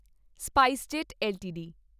SpiceJet LTD